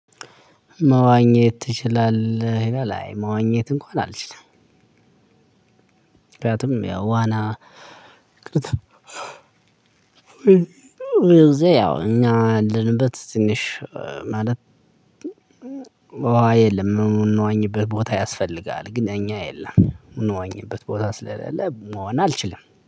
መዋኘት ትችላለህ ላይ መዋኘት እንኳን አልችልም። ምክንያቱም ያው ዋና እ ያው እኛ ልንበት ትንሽ እ ማለት የለም ምን የምንዋኝበት ቦታ ያስፈልጋል ግን እኛ የለም ምንዋኝበት ቦታ ስለሌለ ዋና አልችልም